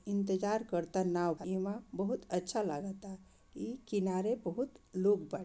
इंतजार कराता नाव के इमे बहुत अच्छा लगाता इ किनारे बहुत लोग बा।